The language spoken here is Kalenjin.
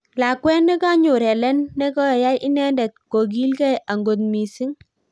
Lakwet nekonyor Hellen ne koyai inendet kokilgei angot missing.